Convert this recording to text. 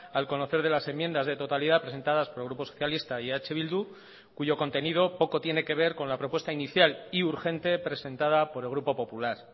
al conocer de las enmiendas de totalidad presentadas por el grupo socialista y eh bildu cuyo contenido poco tiene que ver con la propuesta inicial y urgente presentada por el grupo popular